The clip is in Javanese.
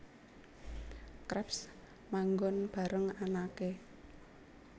Krabs manggon bareng anake